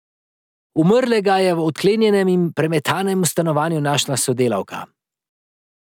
Umrlega je v odklenjenem in premetanem stanovanju našla sodelavka.